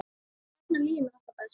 Þarna líður mér alltaf best.